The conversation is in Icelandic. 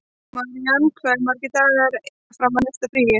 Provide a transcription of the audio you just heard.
Marían, hversu margir dagar fram að næsta fríi?